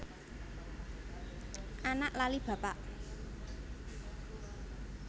Anak lali bapak